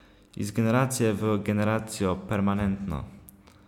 Iz generacije v generacijo, permanentno.